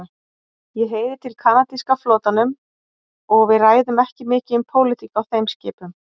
Ég heyri til kanadíska flotanum og við ræðum ekki mikið um pólitík á þeim skipum.